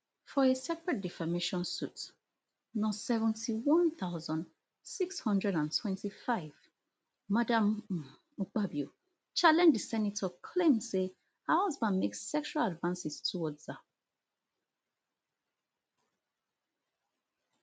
for a separate defamation suit no seventy-one thousand, six hundred and twenty-five madam um akpabio challenge di senator claim say her husband make sexual advances towards her